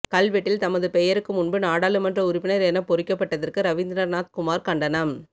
கல்வெட்டில் தமது பெயருக்கு முன்பு நாடாளுமன்ற உறுப்பினர் என பொறிக்கப்பட்டதற்கு ரவீந்திரநாத் குமார் கண்டனம்